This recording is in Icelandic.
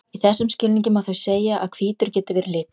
Í þessum skilningi má því segja að hvítur geti verið litur.